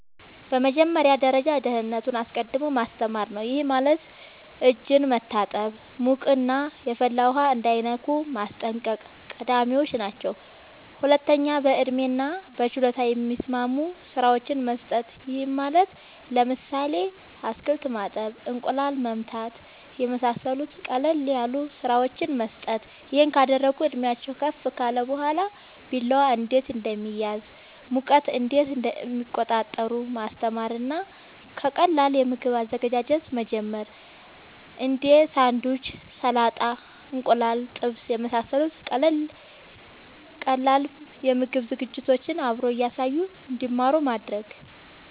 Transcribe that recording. በመጀመሪያ ደረጃ ደህንነትን አስቀድሞ ማስተማር ነዉ ይሄም ማለት እጅን መታጠብ ሙቅና የፈላ ውሃ እንዳይነኩ ማስጠንቀቅ ቀዳሚወች ናቸው ሁለተኛ በእድሜና በችሎታ የሚስማሙ ስራወችን መስጠት ይሄም ማለት ለምሳሌ አትክልት ማጠብ እንቁላል መምታት የመሳሰሉት ቀለል ያሉ ስራወችን መስጠት ይሄን ካደረጉ እድሜአቸውም ከፍ ካለ በኋላ ቢላዋ እንዴት እንደሚያዝ ሙቀት እንዴት እንደሚቆጣጠሩ ማስተማር እና ከቀላል የምግብ አዘገጃጀት መጀመር እንዴ ሳንዱች ሰላጣ እንቁላል ጥብስ የመሳሰሉት ቀላል የምግብ ዝግጅቶችን አብሮ እያሳዩ እንድማሩ ማድረግ